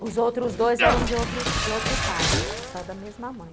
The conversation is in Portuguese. Mas os outros... Os outros dois eram de outro outro pai, só da mesma mãe.